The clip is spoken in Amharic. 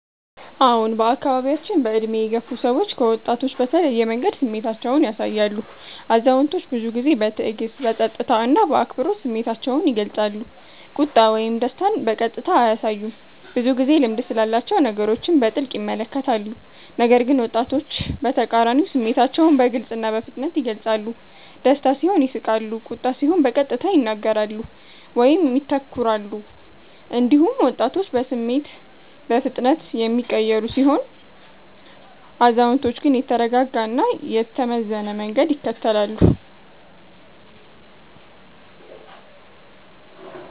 አዎን፣ በአካባቢያችን በዕድሜ የገፉ ሰዎች ከወጣቶች በተለየ መንገድ ስሜታቸውን ያሳያሉ። አዛውንቶች ብዙ ጊዜ በትዕግስት፣ በጸጥታ እና በአክብሮት ስሜታቸውን ይገልጻሉ፤ ቁጣ ወይም ደስታን በቀጥታ አያሳዩም፣ ብዙ ጊዜ ልምድ ስላላቸው ነገሮችን በጥልቅ ይመለከታሉ። ነገር ግን ወጣቶች በተቃራኒው ስሜታቸውን በግልጽ እና በፍጥነት ይገልጻሉ፤ ደስታ ሲሆን ይስቃሉ፣ ቁጣ ሲሆን በቀጥታ ይናገራሉ ወይም ይተኩራሉ። እንዲሁም ወጣቶች በስሜት በፍጥነት የሚቀየሩ ሲሆኑ፣ አዛውንቶች ግን የተረጋጋ እና የተመዘነ መንገድ ይከተላሉ።